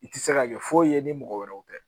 I tɛ se ka kɛ foyi ye i ni mɔgɔ wɛrɛw tɛ